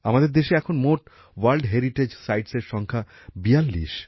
আমাদের দেশে এখন ওয়ার্ল্ড হেরিটেজ সাইটসের মোট সংখ্যা ৪২